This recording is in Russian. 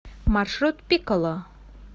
маршрут пикколо